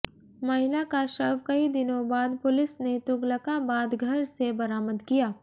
महिला का शव कई दिनों बाद पुलिस ने तुगलकाबाद घर से बरामद किया